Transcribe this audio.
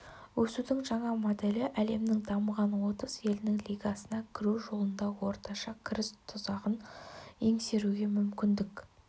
өсудің жаңа моделі әлемнің дамыған отыз елінің лигасына кіру жолында орташа кіріс тұзағын еңсеруге мүмкіндік